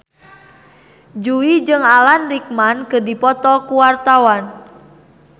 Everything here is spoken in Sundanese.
Jui jeung Alan Rickman keur dipoto ku wartawan